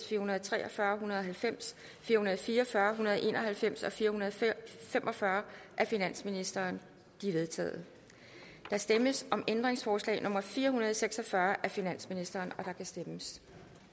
fire hundrede og tre og fyrre en hundrede og halvfems fire hundrede og fire og fyrre en hundrede og en og halvfems og fire hundrede og fem og fyrre af finansministeren de er vedtaget der stemmes om ændringsforslag nummer fire hundrede og seks og fyrre af finansministeren og der kan stemmes